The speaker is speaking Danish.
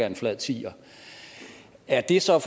en flad tier er det så